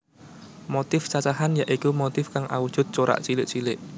Motif cacahan ya iku motif kang awujud corak cilik cilik